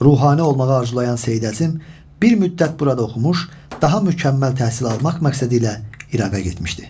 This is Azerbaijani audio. Ruhani olmağı arzulayan Seyid Əzim bir müddət burada oxumuş, daha mükəmməl təhsil almaq məqsədilə İraqa getmişdi.